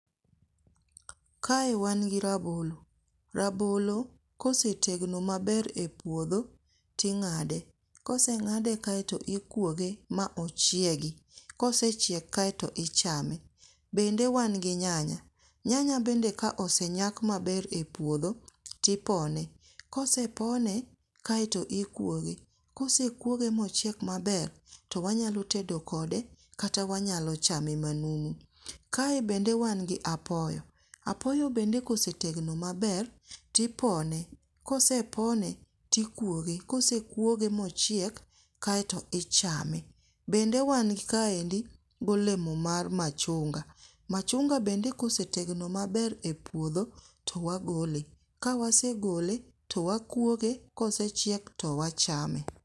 Kae wan gi rabolo, rabolo kosetegno maber e puodho, ting'ade. Koseng'ade kaeto ikuoge ma ochiegi. Kosechiek kaeto ichame. Bende wan gi nyanya. Nyanya bende ka osenyak maber e puodho, tipone. Kosepone, kaeto ikwoge, kosekwoge mochiek maber, to wanyalo tedo kode kata wanyalo chame manumu. Kae bende wan gi apoyo, apoyo bende kosetegno maber, tipone ,kosepone, tikwoge, kosekwoge mochiek, kaeto ichame. Bende wan kaendi golemo mar machunga. Machunga bende kosetegno maber e puodho, to wagole, ka wasegole, to wakwoge, kosechiek to wachame.